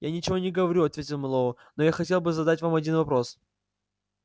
я ничего не говорю ответил мэллоу но я хотел бы задать вам один вопрос